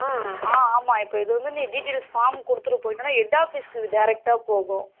அ ஆமா இப்போ இது வந்து நீ details form குடுத்துட்டு போய்ட்டன head office க்கு direct அஹ போகும்.